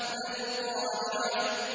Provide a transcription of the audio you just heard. مَا الْقَارِعَةُ